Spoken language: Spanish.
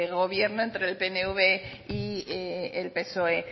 gobierno entre el pnv y el psoe